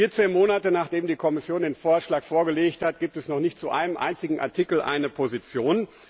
Vierzehn Monte, nachdem die Kommission den Vorschlag vorgelegt hat, gibt es noch nicht zu einem einzigen Artikel eine Position.